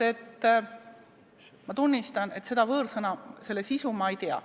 Ma tunnistan, et selle võõrsõna sisu ma ei tea.